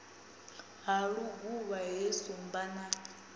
ha luguvha he shumba na